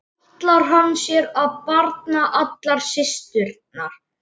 Ætlar hann sér að barna allar systurnar?